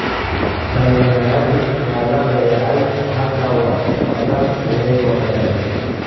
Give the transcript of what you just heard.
Dhalinyaradii waa la dayacay. Hadda wax badan ayay wadaagaan.